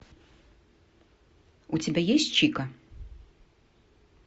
у тебя есть чика